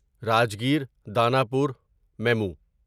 Rajgir Danapur memo